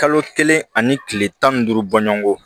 Kalo kelen ani kile tan ni duuru bɔɲɔgonko